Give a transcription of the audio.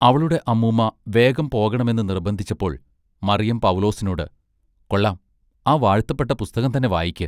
അവളുടെ അമ്മൂമ്മ വേഗം പോകേണമെന്ന് നിർബന്ധിച്ചപ്പോൾ മറിയം പൗലൂസിനോട് കൊള്ളാം ആ വാഴ്ത്തപ്പെട്ട പുസ്തകം തന്നെ വായിക്ക്.